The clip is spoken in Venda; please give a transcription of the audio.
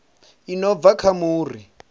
i no bva kha muri